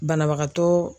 Banabagatɔ